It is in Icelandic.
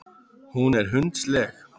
Hún er hundsleg.